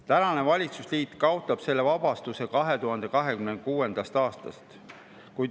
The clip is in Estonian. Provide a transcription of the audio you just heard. Praegune valitsusliit kaotab selle vabastuse 2026. aastast.